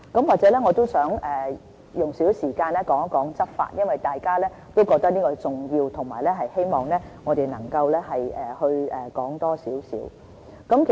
我也想用一點時間談一談執法，因為大家都覺得這是重要的，並希望我們多談一些。